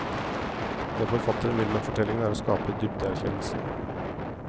Det forfatteren vil med fortellingen er å skape dypdeerkjennelse.